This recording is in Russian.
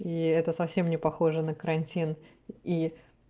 и это совсем не похоже на карантин и